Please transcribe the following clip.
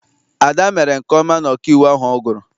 Ada mere nke ọma na ọkaiwu ahụ ọ gụrụ.